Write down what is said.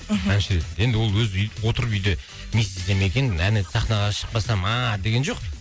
мхм әнші ретінде енді ол отырып үйде не істесем екен ән айтып сахнаға шықпасам ааа деген жоқ